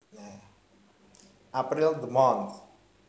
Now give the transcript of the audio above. April the month